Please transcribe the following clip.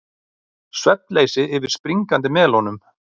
Svefnleysi yfir springandi melónum